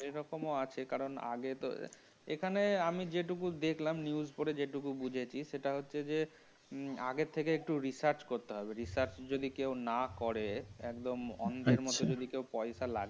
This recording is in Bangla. এরকম আছে কারণ আগে তো এখানে আমি যেইটুকু দেখলাম news পড়ে যতটুকু বুঝেছি সেটা হচ্ছে আগে থেকে একটু research করতে হবে research যদি কেউ না করে একদম অন্ধের মত যদি কেউ পয়সা লাগে